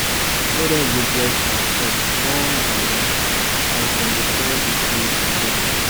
elders go bless our crops one by one as dem dey call the spirit dem.